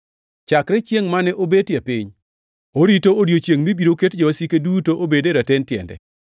Chakre chiengʼ mane obetie piny, orito odiechiengʼ mibiro ket jowasike duto obed raten tiende;